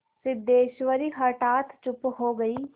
सिद्धेश्वरी हठात चुप हो गई